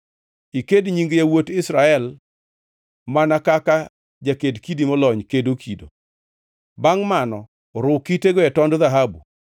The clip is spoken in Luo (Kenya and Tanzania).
Iked nying yawuot Israel mana kaka jaked kidi molony kedo kido. Bangʼ mano ru kitego e tond dhahabu,